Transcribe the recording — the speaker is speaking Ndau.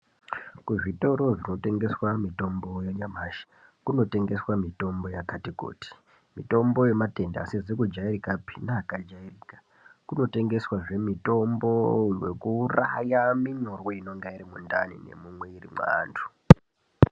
Kuzvitoro zvinotengeswa mitombo yanyamashi kunotengeswa mitombo yakati kuti. Mitombo yematenda asizi kujairikapi neakajairika. Kunotengeswazve mitombo wekuuraya minyurwi inonga iri mundani mumwiri maantu.